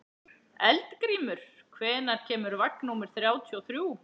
Eldgrímur, hvenær kemur vagn númer þrjátíu og þrjú?